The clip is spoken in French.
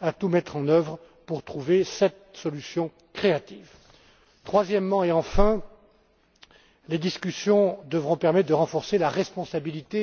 à tout mettre en œuvre pour trouver cette solution créative. Enfin, les discussions devront permettre de renforcer la responsabilité